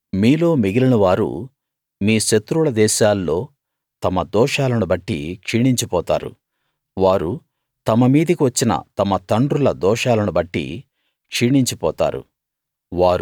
మీలో మిగిలినవారు మీ శత్రువుల దేశాల్లో తమ దోషాలను బట్టి క్షీణించిపోతారు వారు తమ మీదికి వచ్చిన తమ తండ్రుల దోషాలను బట్టి క్షీణించిపోతారు